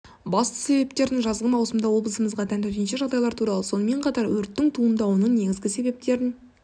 басты себептерін жазғы маусымда облысымызға тән төтенше жағдайлар туралы сонымен қатар өрттің туындауының негізгі себептерін